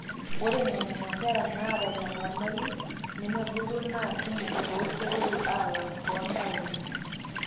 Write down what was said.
ore nena kera naata ina nyamali nemebulu naa kumok tooseroi alang'u toontaoni